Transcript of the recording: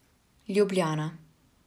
Ljubljana.